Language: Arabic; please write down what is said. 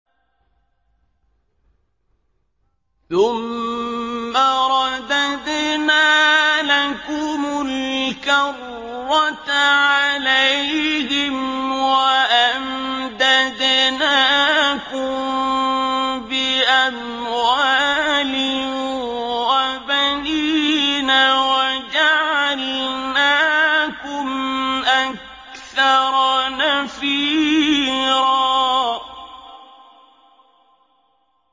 ثُمَّ رَدَدْنَا لَكُمُ الْكَرَّةَ عَلَيْهِمْ وَأَمْدَدْنَاكُم بِأَمْوَالٍ وَبَنِينَ وَجَعَلْنَاكُمْ أَكْثَرَ نَفِيرًا